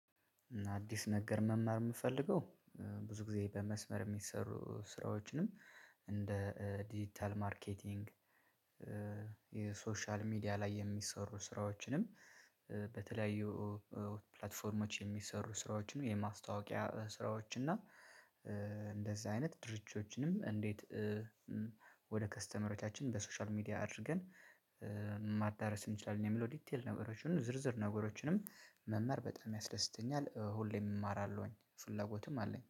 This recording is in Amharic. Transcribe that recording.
እና አዲስ ነገር መማር የምፈልገው ብዙ ጊዜ በመስመር የሚሰሩ ስራዎችንም እንደ ዲጂታል ማርኬቲንግ። ሶሻል ሚዲያ ላይ የሚሰሩ ስራዎችንም በተለያዩ ፕላትፎርሞች የሚሰሩ ስራዎችን የማስታወቂያ ስራዎች እና አይነት ድርጅቶችንም እንዴት? ወደ ከስተመሮቻችን በሶሻል ሚዲያ አድርገን ማዳረስ እንችላለን የሚለው ዲቴል ነገሮችን ዝርዝር ነገሮችንም መማር በጣም ያስደስተኛል። ሁሌም እማራለሁኝ ፍላጎትም አለኝ